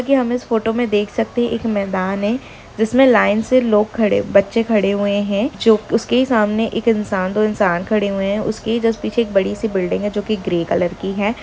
कि हम इस फोटो मे देख सकते हैं एक मैदान हैं जिस मे लाईन से लोग खड़े बच्चे खड़े हुये हैं उसके ही सामने एक इंसान दो इंसान खड़े हुये हैं उसके ही जो उस पीछे बडी सी बिल्डिंग हैं जो की ग्रे कलर कि हैं।